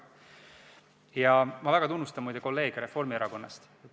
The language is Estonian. Ja ma väga tunnustan, muide, kolleege Reformierakonnast.